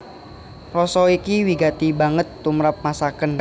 Rasa iki wigati banget tumrap masakan